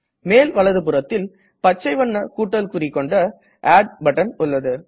மேல் வலதுபுறத்தில் பச்சை வண்ண கூட்டல் குறி கொன்ட ஆட் பட்டன் உள்ளது